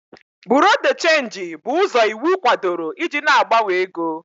Buro de chenji bụ ụzọ iwu kwadoro iji na-agbanwe ego.